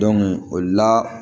o la